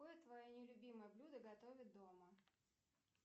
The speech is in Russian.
какое твое нелюбимое блюдо готовят дома